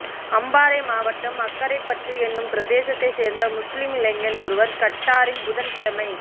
அம்பாறை மாவட்டம் அக்கரைப்பற்று என்னும் பிரதேசத்தைச் சேர்ந்த முஸ்லிம் இளைஞர் ஒருவர் கட்டாரில் புதன் கிழமை